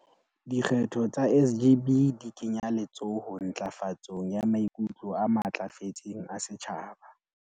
"Dikgetho tsa SGB di kenya letsoho ntlafatsong ya maikutlo a matlafetseng a setjhaba."